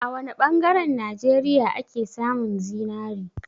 A wa ne ɓangaren Najeriya ake samun zinari?